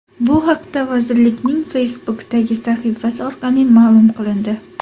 Bu haqda vazirlikning Facebook’dagi sahifasi orqali ma’lum qilindi .